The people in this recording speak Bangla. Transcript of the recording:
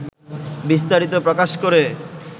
বিস্তারিত প্রকাশ করে